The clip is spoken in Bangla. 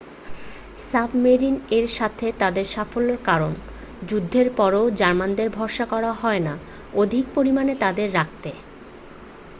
সাবমেরিন এর সাথে তাদের সাফল্যের কারণে যুদ্ধের পরেও জার্মানদের ভরসা করা হয় না অধিক পরিমানে তাদের রাখতে